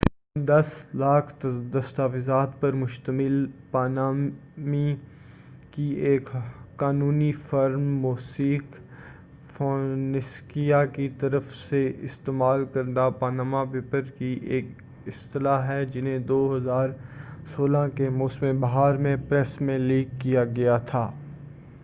تقریبا دس لاکھ دستاویزات پر مشتمل پانامانی کی ایک قانونی فرم موسیک فونسیکا کی طرف سے استعمال کردہ پاناما پیپرز ایک اصطلاح ہے جنہیں 2016 کے موسم بہار میں پریس میں لیک کیا گیا تھا